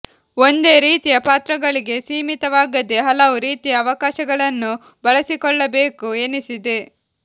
ಒಂದೇ ರೀತಿಯ ಪಾತ್ರಗಳಿಗೆ ಸೀಮಿತವಾಗದೇ ಹಲವು ರೀತಿಯ ಅವಕಾಶಗಳನ್ನು ಬಳಸಿಕೊಳ್ಳಬೇಕು ಎನಿಸಿದೆ